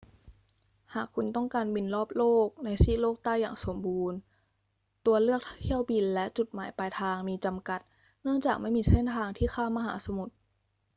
หากคุณต้องการบินรอบโลกในซีกโลกใต้อย่างสมบูรณ์ ตัวเลือกเที่ยวบินและจุดหมายปลายทางมีจำกัดเนื่องจากไม่มีเส้นทางที่ข้ามมหาสมุทร